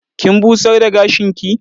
Kin busar da gashinki?